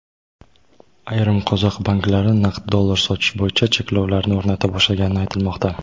ayrim qozoq banklari naqd dollar sotish bo‘yicha cheklovlarni o‘rnata boshlagani aytilmoqda.